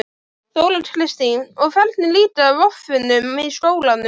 Þóra Kristín: Og hvernig líkar voffunum í skólanum?